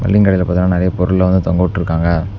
இங்கடைல பாத்தீங்கன்னா நறைய பொருள்ளா வந்து தொங்கவிட்ருக்காங்க.